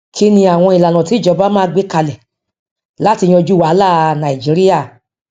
kí ni àwọn ìlànà tí ìjọba máa gbé kalẹ láti yanjú wàhálà nàìjíríà